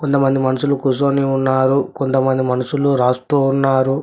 కొంతమంది మనుషులు కుసోని ఉన్నారు కొంతమంది మనుషులు రాస్తూ ఉన్నారు.